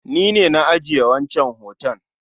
Ni ne na ajiye wancan hoton